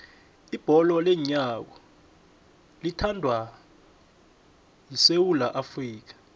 ibholo leenyawo liyathandwa esewula afrika